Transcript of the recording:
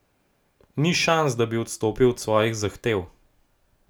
Ni šans, da bi odstopili od svojih zahtev.